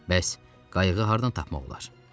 Bəs qayıq hardan tapmaq olar?